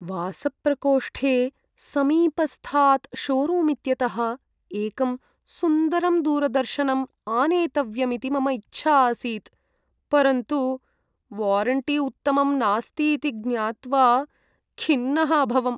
वासप्रकोष्ठे समीपस्थात् शोरूम् इत्यतः एकं सुन्दरं दूरदर्शनम् आनेतव्यमिति मम इच्छा आसीत्, परन्तु वारण्टी उत्तमं नास्ति इति ज्ञात्वा खिन्नः अभवम्।